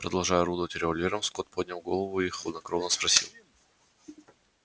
продолжая орудовать револьвером скотт поднял голову и хладнокровно спросил